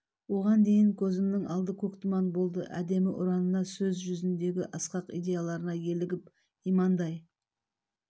оған дейін көзімнің алды көк тұман болды әдемі ұранына сөз жүзіндегі асқақ идеяларына елігіп имандай